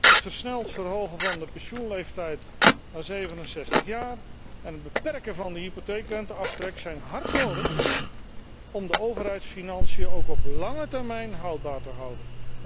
Het versneld verhogen van de pensioenleeftijd naar 67 jaar en het beperken van de hypotheekrenteaftrek zijn hard nodig om de overheidsfinanciën ook op lange termijn houdbaar te houden.